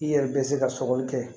I yɛrɛ bɛ se ka sɔgɔli kɛ